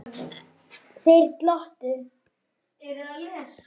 Þeir glottu.